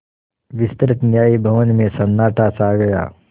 विस्तृत न्याय भवन में सन्नाटा छा गया